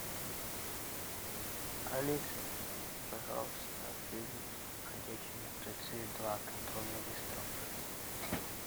алиса пожалуйста фильм ходячие мертвецы два контрольный выстрел